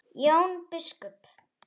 Jón biskup